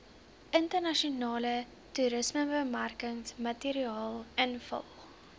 internasionale toerismebemarkingsmateriaal invul